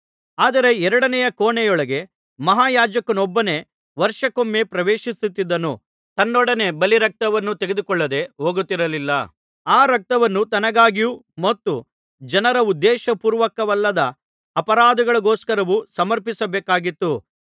ಆದರೆ ಎರಡನೆಯ ಕೋಣೆಯೊಳಗೆ ಮಹಾಯಾಜಕನೊಬ್ಬನೇ ವರ್ಷಕ್ಕೊಮ್ಮೆ ಪ್ರವೇಶಿಸುತ್ತಿದ್ದನು ತನ್ನೊಡನೆ ಬಲಿರಕ್ತವನ್ನು ತೆಗೆದುಕೊಳ್ಳದೆ ಹೋಗುತ್ತಿರಲಿಲ್ಲ ಆ ರಕ್ತವನ್ನು ತನ್ನಗಾಗಿಯೂ ಮತ್ತು ಜನರ ಉದ್ದೇಶಪೂರ್ವಕವಲ್ಲದ ಅಪರಾಧಗಳಿಗೋಸ್ಕರವೂ ಸಮರ್ಪಿಸಬೇಕಾಗಿತ್ತು